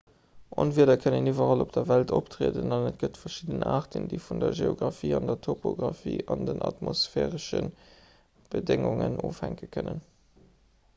onwieder kënnen iwwerall op der welt optrieden an et gëtt verschidden aarten déi vun der geografie der topografie an den atmosphäresche bedéngungen ofhänke kënnen